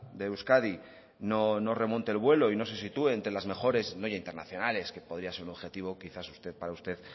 de euskadi no remonte el vuelo y no se sitúe entre las mejores no ya internacionales que podía ser un objetivo que quizás para usted